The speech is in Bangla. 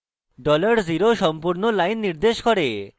$0 সম্পূর্ণ line নির্দেশ করে